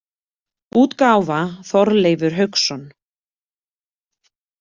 útgáfa Þorleifur Hauksson.